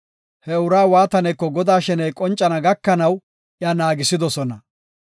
He uraa waataneko Godaa sheney qoncana gakanaw iya naagisidosona.